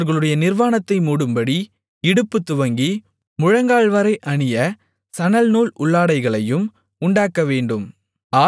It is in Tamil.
அவர்களுடைய நிர்வாணத்தை மூடும்படி இடுப்புத்துவங்கி முழங்கால்வரை அணிய சணல்நூல் உள்ளாடைகளையும் உண்டாக்கவேண்டும்